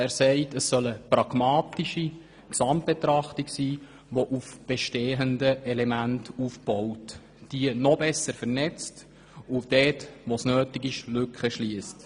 Er sagt, das soll eine pragmatische Gesamtbetrachtung sein, die auf bestehenden Elementen aufbaut, diese noch besser vernetzt und Lücken schliesst, wo es nötig ist.